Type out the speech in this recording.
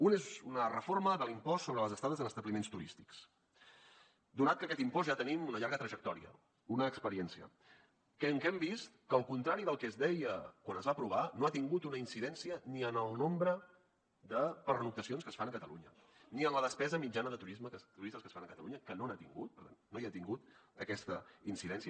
una és una reforma de l’impost sobre les estades en establiments turístics donat que d’aquest impost ja en tenim una llarga trajectòria una experiència en què hem vist que al contrari del que es deia quan es va aprovar no ha tingut una incidència ni en el nombre de pernoctacions que es fan a catalunya ni en la despesa mitjana de turisme que els turistes fan a catalunya que no n’ha tingut per tant no hi ha tingut aquesta incidència